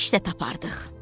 İş də tapardıq.